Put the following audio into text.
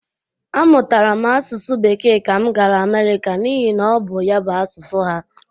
A mụtara m asụsụ Bekee ka m gara Amerịka n'ihi na ọ bụ ya bụ asụsụ ha.